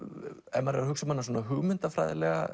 ef maður er að hugsa um hana hugmyndafræðilega